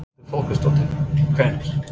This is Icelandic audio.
Þórhildur Þorkelsdóttir: Hvenær?